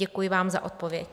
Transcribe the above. Děkuji vám za odpověď.